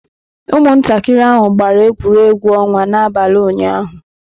Ụmụntakịrị ahụ gbara egwuregwu ọnwa n'abalị ụnyaahụ.